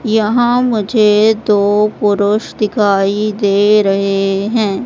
यहां मुझे दो पुरुष दिखाई दे रहे हैं।